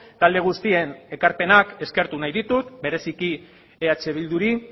talde guztien ekarpenak eskertu nahi ditut bereziki eh bilduri